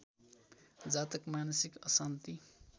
जातक मानसिक अशान्ति